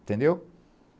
Entendeu?